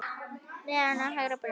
Neðan við hægra brjóst.